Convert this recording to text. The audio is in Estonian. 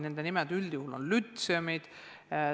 Nende nimi on üldjuhul lütseum.